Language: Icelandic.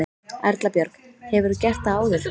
Erla Björg: Hefurðu gert það áður?